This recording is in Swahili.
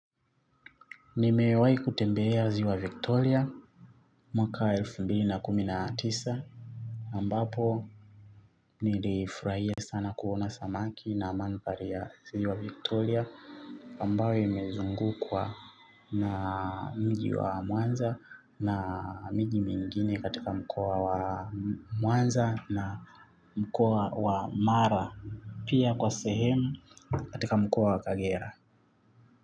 Nimewahi kutembelea ziwa victoria mwaka elfu mbili na kumi na tisa ambapo nilifurahia sana kuona samaki na mahandhari ya ziwa victoria ambayo imezungukwa na mji wa mwanza na miji mingine katika mkoa wa mwanza na mkoa wa mara pia kwa sehemu katika mkoa wa kagera.